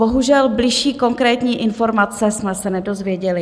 Bohužel, bližší konkrétní informace jsme se nedozvěděli.